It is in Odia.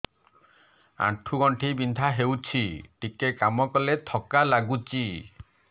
ଆଣ୍ଠୁ ଗଣ୍ଠି ବିନ୍ଧା ହେଉଛି ଟିକେ କାମ କଲେ ଥକ୍କା ଲାଗୁଚି